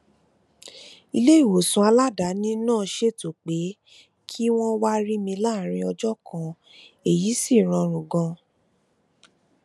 ilé ìwòsàn aladaani náà ṣètò pé kí wón wá rí mi láàárín ọjó kan èyí sì rọrùn ganan